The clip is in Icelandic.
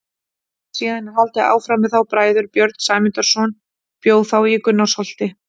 Síðan er haldið áfram með þá bræður: Björn Sæmundarson bjó þá í Gunnarsholti.